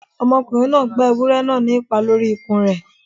Ọmọkùnrin gbá ewúrẹ́ náà ní ìpá lórí ikùn rẹ̀